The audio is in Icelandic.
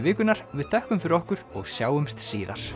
vikunnar við þökkum fyrir okkur og sjáumst síðar